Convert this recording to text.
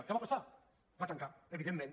què va passar va tancar evidentment